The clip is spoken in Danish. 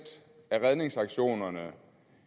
af redningsaktionerne